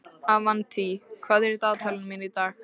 Avantí, hvað er í dagatalinu mínu í dag?